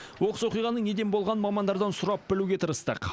оқыс оқиғаның неден болғанын мамандардан сұрап білуге тырыстық